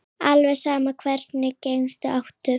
Alveg sama Hvernig gemsa áttu?